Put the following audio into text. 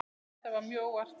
Þetta var mjög óvænt.